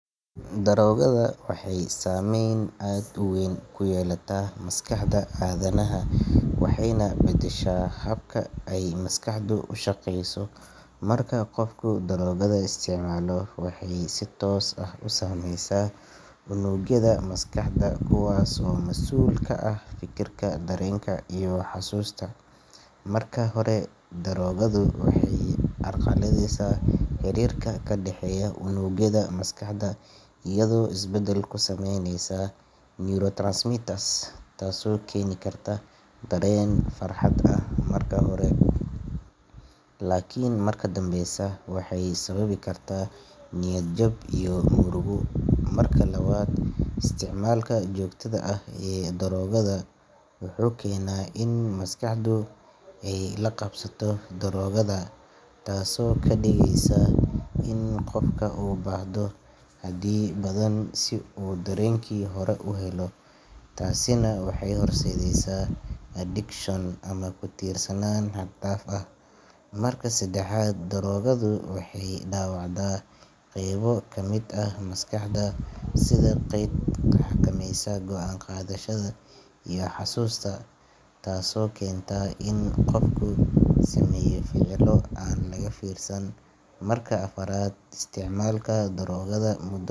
daroogada waxay saameyn aad u weyn ku yeelataa maskaxda aadanaha waxayna bedeshaa habka ay maskaxdu u shaqeyso marka qofku daroogada isticmaalo waxay si toos ah u saameysaa unugyada maskaxda kuwaas oo masuul ka ah fikirka dareenka iyo xusuusta marka hore daroogadu waxay carqaladeysa xiriirka ka dhexeeya unugyada maskaxda iyadoo isbedel ku sameyneysa neurotransmitters taasoo keeni karta dareen farxad ah marka hore laakiin markaa dambeysa waxay sababi kartaa niyad jab iyo murugo marka labaad isticmaalka joogtada ah ee daroogada wuxuu keenaa in maskaxdu ay la qabsato daroogada taasoo ka dhigeysa in qofku u baahdo xaddi badan si uu dareenkii hore u helo taasina waxay horseedaysaa addiction ama ku tiirsanaan xad dhaaf ah marka saddexaad daroogadu waxay dhaawacdaa qaybo ka mid ah maskaxda sida qeybta xakamaysa go’aan qaadashada iyo xusuusta taasoo keenta in qofka uu sameeyo ficillo aan laga fiirsan marka afaraad isticmaalka daroogada muddo.